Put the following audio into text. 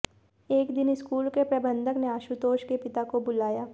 एक दिन स्कूल के प्रबंधक ने आशुतोष के पिता को बुलाया